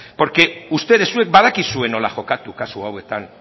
porque ustedes zuek badakizue nola jokatu kasu hauetan